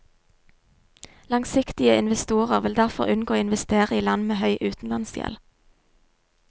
Langsiktige investorer vil derfor unngå å investere i land med høy utenlandsgjeld.